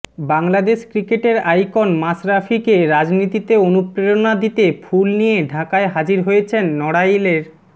বাংলাদেশ ক্রিকেটের আইকন মাশরাফিকে রাজনীতিতে অনুপ্রেরণা দিতে ফুল নিয়ে ঢাকায় হাজির হয়েছেন নড়াইলের